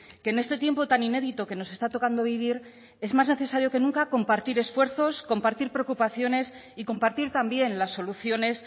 que en este tiempo tan inédito que nos está tocando vivir es más necesario que nunca compartir esfuerzos compartir preocupaciones y compartir también las soluciones